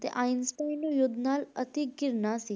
ਤੇ ਆਈਨਸਟਾਈਨ ਨੂੰ ਯੁੱਧ ਨਾਲ ਅਤੀ ਘਿਰਨਾ ਸੀ,